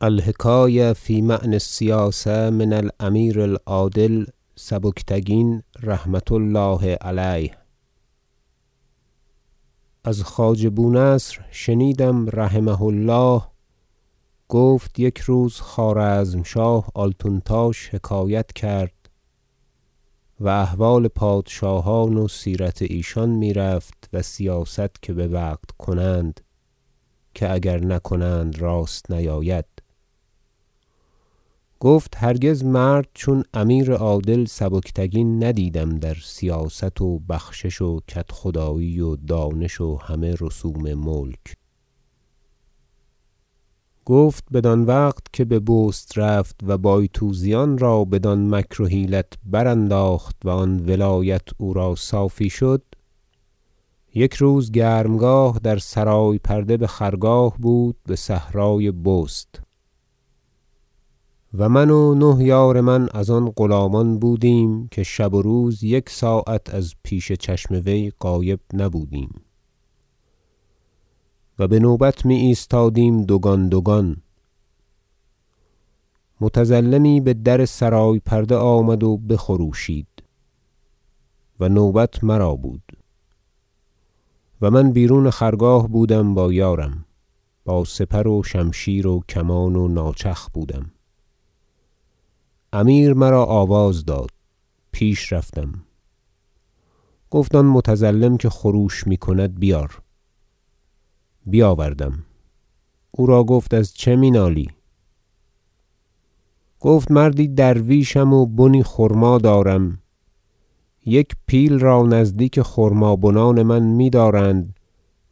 الحکایة فی معنی السیاسة من الأمیر العادل سبکتکین رحمة الله علیه از خواجه بونصر شنیدم رحمه الله گفت یک روز خوارزمشاه آلتونتاش حکایت کرد و احوال پادشاهان و سیرت ایشان میرفت و سیاست که بوقت کنند که اگر نکنند راست نیاید گفت هرگز مرد چون امیر عادل سبکتگین ندیدم در سیاست و بخشش و کدخدایی و دانش و همه رسوم ملک گفت بدان وقت که به بست رفت و بایتوزیان را بدان مکر و حیلت برانداخت و آن ولایت او را صافی شد یک روز گرمگاه در سرای پرده بخرگاه بود بصحرای بست و من و نه یار من از آن غلامان بودیم که شب و روز یک ساعت از پیش چشم وی غایب نبودیم و بنوبت می ایستادیم دوگان دوگان متظلمی بدر سرای پرده آمد و بخروشید و نوبت مرا بود و من بیرون خرگاه بودم با یارم و با سپر و شمشیر و کمان و ناچخ بودم امیر مرا آواز داد پیش رفتم گفت آن متظلم که خروش میکند بیار بیاوردم او را گفت از چه می نالی گفت مردی درویشم و بنی خرما دارم یک پیل را نزدیک خرما بنان من میدارند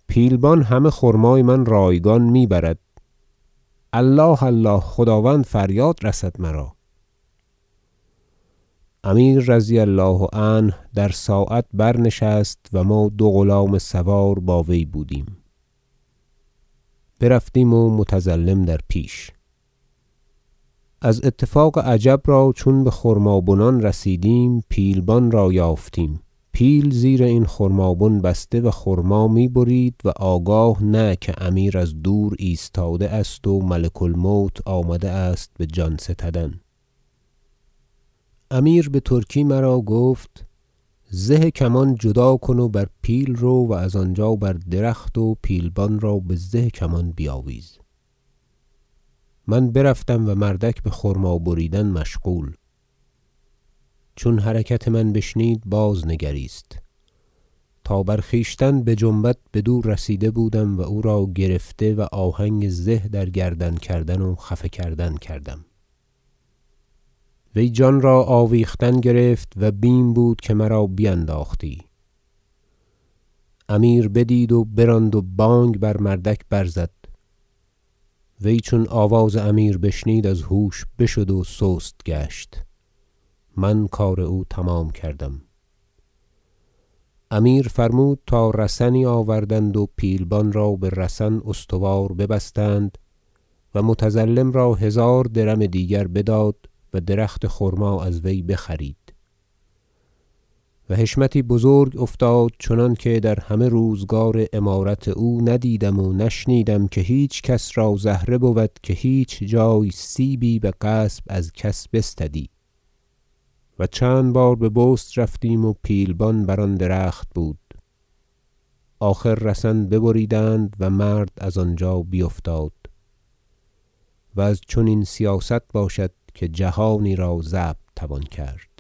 پیلبان همه خرمای من رایگان می ببرد الله الله خداوند فریاد رسد مرا امیر رضی الله عنه در ساعت برنشست و ما دو غلام سوار با وی بودیم برفتیم و متظلم در پیش از اتفاق عجب را چون بخرمابنان رسیدیم پیلبان را یافتیم پیل زیر این خرمابن بسته و خرما می برید و آگاه نه که امیر از دور ایستاده است و ملک الموت آمده است بجان ستدن امیر بترکی مرا گفت زه کمان جدا کن و بر پیل رو و از آنجا بر درخت و پیلبان را بزه کمان بیاویز من برفتم و مردک بخرما بریدن مشغول چون حرکت من بشنید بازنگریست تا خود بر خویشتن بجنبد بدو رسیده بودم و او را گرفته و آهنگ زه در گردن کردن و خفه کردن کردم وی جان را آویختن گرفت و بیم بود که مرا بینداختی امیر بدید و براند و بانگ بمردک زد وی چون آواز امیر بشنید از هوش بشد و سست گشت من کار او تمام کردم امیر فرمود تا رسنی آوردند و پیلبان را به رسن استوار ببستند و متظلم را هزار درم دیگر بداد و درخت خرما از وی بخرید و حشمتی بزرگ افتاد چنانکه در همه روزگار امارت او ندیدم و نشنیدم که هیچ کس را زهره بود که هیچ جای سیبی بغصب از کس بستدی و چند بار به بست رفتیم و پیلبان بر آن درخت بود آخر رسن ببریدند و مرد از آنجا بیفتاد و از چنین سیاست باشد که جهانی را ضبط توان کرد